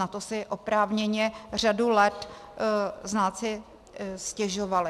Na to si oprávněně řadu let znalci stěžovali.